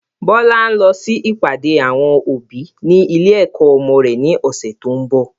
Bọlá ń lọ sí ìpàdé àwọn òbí ni ilé ẹ̀kọ́ ọmọ rẹ̀ ni ọ̀sẹ̀ tó ń bọ̀